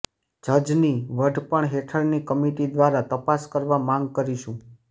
જજની વઢપણ હેઠળની કમિટી દ્વારા તપાસ કરવા માગ કરીશું